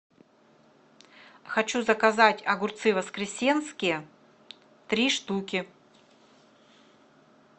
хочу заказать огурцы воскресенские три штуки